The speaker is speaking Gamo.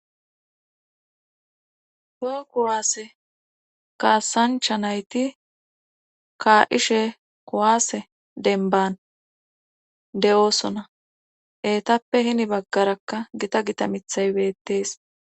toho kowaase kaasancha nayti kaa7ishe kowaase denban de'oosona eetappe hini baggarakka gita gita mithay beettees.